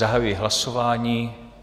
Zahajuji hlasování.